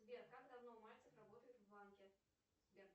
сбер как давно мальцев работает в банке сбер